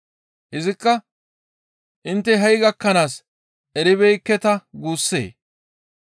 Izikka, «Intte ha7i gakkanaaska eribeekketa guussee?